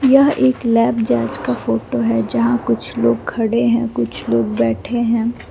यह एक लैब जाँच का फोटो है जहां कुछ लोग खड़े है और कुछ लोग बैठे है।